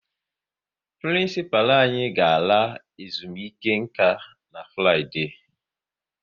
Prịnsịpalụ anyị ga-ala ezumike nka na Fraịde